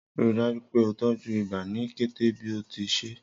Rii daju pe o tọju iba ni kete bi o ti ṣee.